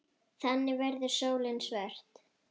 Þannig verður sólin svört.